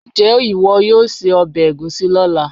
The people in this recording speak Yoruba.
njé iwọ yóò sé obe egusi lola